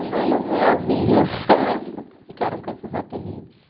Um bando de alvinhos, mas ficaram com esses apelidos.